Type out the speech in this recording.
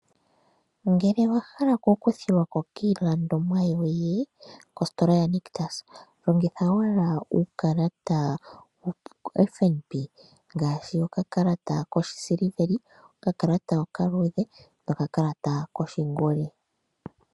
Ngele owa hala oku kuthilwako kiilandomwa yoye kositola yaNictus, longitha owala uukalata woFNB . Ngaashi okakalata koshi siliveli, okakalata okaluudhe noka kalata koshongoli.